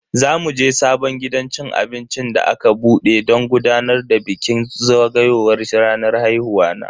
Za muje sabon gidan cin abinci da aka bude don gudanar da bikin zagayowar ranar haihuwa na.